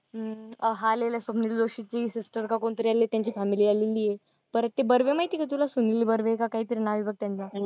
अं हा आलेला आहे स्वप्नील जोशीची सिस्टर का कोणतरी आली त्यांची फॅमिली आलेली आहे. परत ते बर्वे माहिती आहे का तुला, सुनील बर्वे का काहीतरी नाव आहे बघ त्यांचं.